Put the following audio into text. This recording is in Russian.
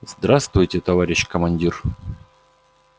здравствуйте товарищ командир